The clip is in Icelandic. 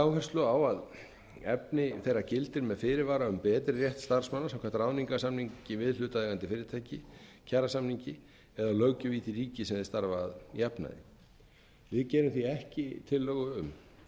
áherslu á að efni þeirra gildir með fyrirvara um betri rétt starfsmanna samkvæmt ráðningarsamningi við hlutaðeigandi fyrirtæki kjarasamningi eða löggjöf í því ríki sem þeir starfa að jafnaði ég geri því ekki tillögu um